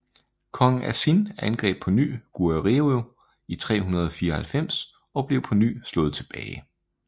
Kong Asin angreb på ny Goguryeo i 394 og blev på ny slået tilbage